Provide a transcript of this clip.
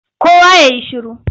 Kowa ya yi shiru!